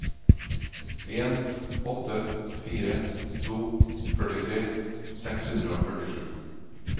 en åtte fire to førtitre seks hundre og førtisju